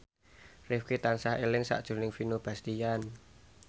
Rifqi tansah eling sakjroning Vino Bastian